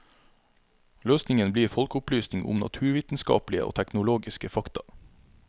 Løsningen blir folkeopplysning om naturvitenskapelige og teknologiske fakta.